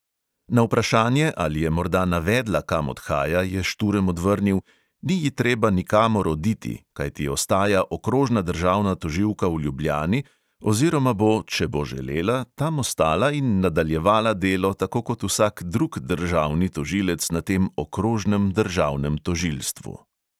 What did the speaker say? Na vprašanje, ali je morda navedla, kam odhaja, je šturm odvrnil: "ni ji treba nikamor oditi, kajti ostaja okrožna državna tožilka v ljubljani oziroma bo, če bo želela, tam ostala in nadaljevala delo tako kot vsak drug državni tožilec na tem okrožnem državnem tožilstvu."